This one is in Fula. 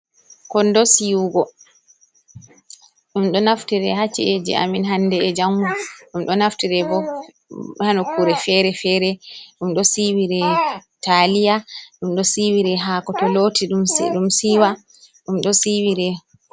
Kondo Siwugo: Ɗum do naftire ha chi’eji amin hande 'e jango. Ɗum do naftire bo ha nukkure fere-fere. Ɗum do siwire taliya, ɗum ɗo siwire hako to loti ɗum siiwa, ɗum ɗo siwire...